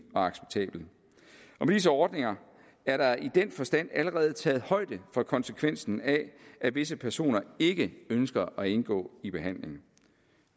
og acceptabel med disse ordninger er der i den forstand allerede taget højde for konsekvensen af at disse personer ikke ønsker at indgå i behandling